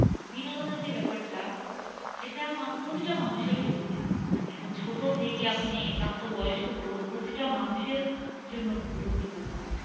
বিনোদনের যে ব্যাপারটা এটা মানে প্রতিটা মানুষের জীবনে একদম ছোট থেকে আপনি প্রাপ্তবয়স্ক বলুন প্রতিটা মানুষের জন্য খুব গুরুত্বপূর্ণ